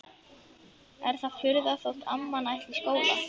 Er það furða þótt amman ætli í skóla?